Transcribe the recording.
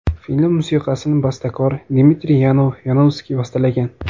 Film musiqasini bastakor Dmitriy Yanov-Yanovskiy bastalagan.